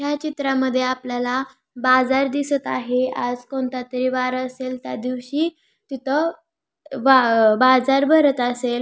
ह्या चित्रामध्ये आपल्याला बाजार दिसत आहे आज कोणतातरी वार असेल त्यादिवशी तिथ ब बाजार भरत असेल.